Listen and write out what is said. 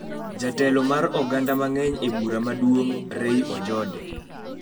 Jatelo mar oganda mang'eny e bura maduong', Ray Ojode